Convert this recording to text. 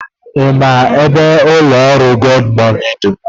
Ị ma ebe ụlọ ọrụ Gomoney dị?